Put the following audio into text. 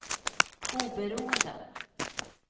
oberoende